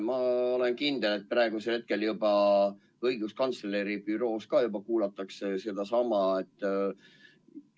Ma olen kindel, et praegusel hetkel juba õiguskantsleri büroos kuulatakse seda.